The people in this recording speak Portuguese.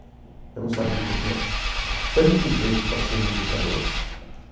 Eu não sabia que eu tinha tanto jeito para ser um educador.